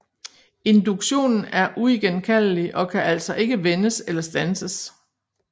Induktionen er uigenkaldelig og kan altså ikke vendes eller standses